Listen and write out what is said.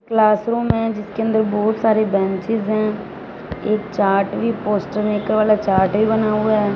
Classroom है जिसके अंदर बहुत सारी बेंचेस हैं एक चार्ट भी पोस्टर मेकर वाला चार्ट भी बना हुआ है।